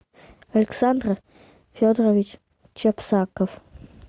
александр федорович чепсаков